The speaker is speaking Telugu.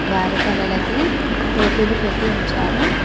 వారి తలలకి టోపీలు పెట్టి ఉంచారు.